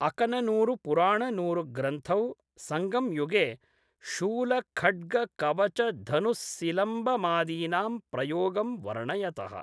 अकननूरुपुराणनूरुग्रन्थौ संगंयुगे शूलखड्गकवचधनुस्सिलम्बमादीनां प्रयोगं वर्णयतः।